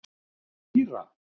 Týra